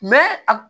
a